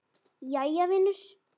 Jæja vinur.